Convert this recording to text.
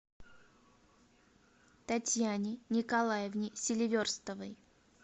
татьяне николаевне селиверстовой